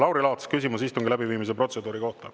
Lauri Laats, küsimus istungi läbiviimise protseduuri kohta.